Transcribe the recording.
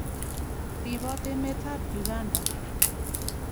Ripot emet ap Uganda.